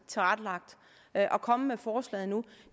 tilrettelagt at komme med forslaget nu